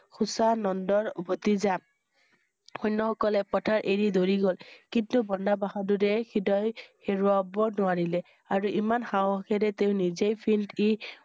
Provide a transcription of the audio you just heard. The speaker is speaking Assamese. সূচায় নন্দ ভতিজা । সৈন্য সকলে পথৰ এৰি দৌৰি গল। কিন্তু বাণ্ড বাহাদুৰে হৃদয় হেৰুৱাব নোৱাৰিলে । আৰু ইমান সাহসেৰে তেওঁ নিজেই field ই